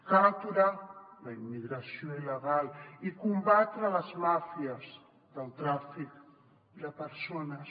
cal aturar la immigració il·legal i combatre les màfies del tràfic de persones